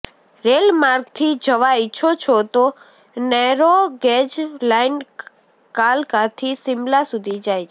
રેલમાર્ગથી જવા ઈચ્છો છો તો નૈરોગેજ લાઈન કાલકાથી શિમલા સુધી જાય છે